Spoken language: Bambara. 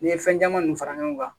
N'i ye fɛn caman ninnu fara ɲɔgɔn kan